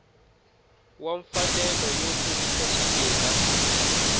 wa mfanelo yo kurisa swimila